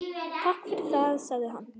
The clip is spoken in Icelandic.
Takk fyrir það- sagði hann.